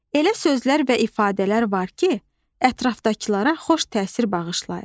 Elə sözlər və ifadələr var ki, ətrafdakılara xoş təsir bağışlayır.